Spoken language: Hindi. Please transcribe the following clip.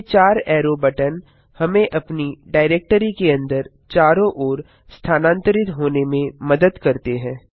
ये चार ऐरो बटन हमें अपनी डाइरेक्टरी के अंदर चारों ओर स्थानांतरित होने में मदद करते हैं